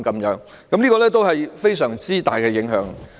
這造成非常大的影響。